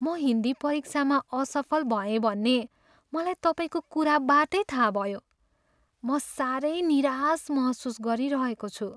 म हिन्दी परीक्षामा असफल भएँ भन्ने मलाई तपाईँको कुराबाटै थाहा भयो। म साह्रै निराश महसुस गरिरहेको छु।